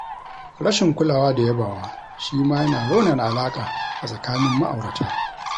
Rashin kulawa da yabawa shi ma yana raunana alaƙa a tsakanin ma'aurata.